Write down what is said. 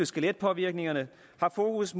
skeletpåvirkninger har fokus